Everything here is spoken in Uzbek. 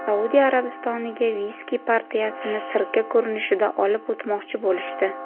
Saudiya Arabistoniga viski partiyasini sirka ko‘rinishida olib o‘tmoqchi bo‘lishdi.